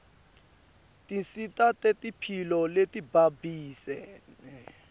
tinsita tetemphilo letibambisene